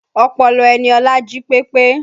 Ọpọlọ Eniola jí pepe